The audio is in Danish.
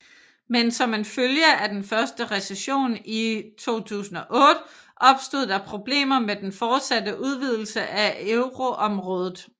Men som en følge af den første recession i 2008 opstod der problemer med den fortsatte udvidelse af euroområdet